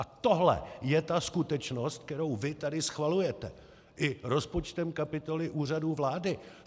A tohle je ta skutečnost, kterou vy tady schvalujete i rozpočtem kapitoly Úřadu vlády.